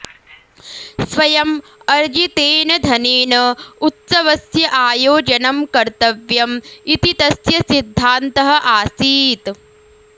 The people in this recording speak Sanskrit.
स्वयम् अर्जितेन धनेन उत्सवस्य आयोजनम् कर्तव्यम् इति तस्य सिद्धान्तः आसीत्